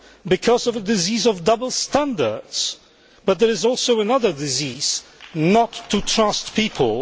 Because of the disease of double standards. But there is also another disease not to trust people.